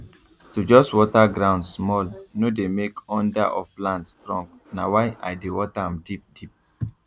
to just water ground small no dey make under of plant strong na why i dey water am deep deep